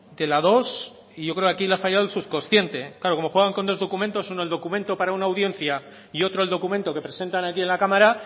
de la dos y yo creo que aquí le ha fallado el subconsciente claro como juegan con dos documentos uno el documento para una audiencia y otro el documento que presentan aquí en la cámara